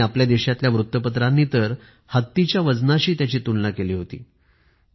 आणि आपल्या देशातल्या वृत्तपत्रांनी तर हत्तीच्या वजनाशी त्याची तुलना केली होती